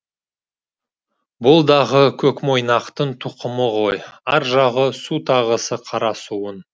бұл дағы көкмойнақтың тұқымы ғой ар жағы су тағысы қара суын